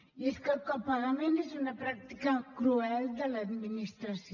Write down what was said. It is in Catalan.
i és que el copagament és una pràctica cruel de l’administració